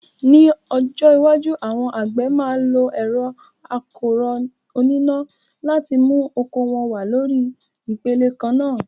Ní ọjọ́ iwájú, àwọn àgbẹ̀ máa lo ẹ̀rọ akọ́rọ́ oníná láti mú oko wọn wá lórí ipele kan náà.